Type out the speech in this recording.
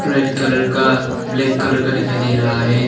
Red colour का black colour का दिखाई दे रहा है।